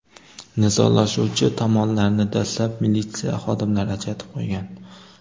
Nizolashuvchi tomonlarni dastlab militsiya xodimlari ajratib qo‘ygan.